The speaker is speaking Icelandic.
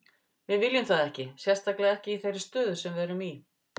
Við viljum það ekki, sérstaklega ekki í þeirri stöðu sem við erum í.